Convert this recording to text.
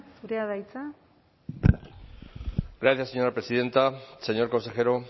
zurea da hitza gracias señora presidenta señor consejero